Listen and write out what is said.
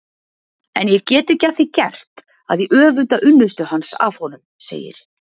En ég get ekki að því gert að ég öfunda unnustu hans af honum, segir